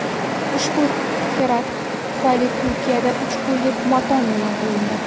Ushbu terakt tufayli Turkiyada uch kunlik motam e’lon qilindi .